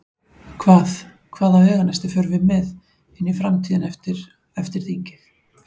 Hvað, hvaða veganesti förum við með inn í framtíðina eftir, eftir þingið?